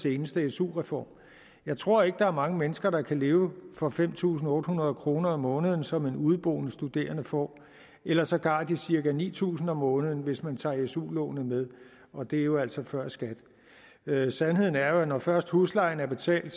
seneste su reform jeg tror ikke der er mange mennesker der kan leve for fem tusind otte hundrede kroner måneden som en udeboende studerende får eller sågar de cirka ni tusind kroner om måneden hvis man tager su lånet med og det er jo altså før skat sandheden er jo at når først huslejen er betalt